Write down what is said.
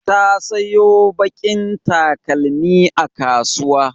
Ta sayo baƙin takalmi a kasuwa.